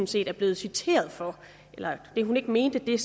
set er blevet citeret for at hun ikke mente det